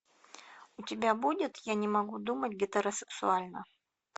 у тебя будет я не могу думать гетеросексуально